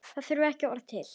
Það þurfti ekki orð til.